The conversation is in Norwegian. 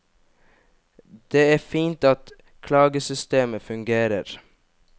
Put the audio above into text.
Det er fint at klagesystemet fungerer.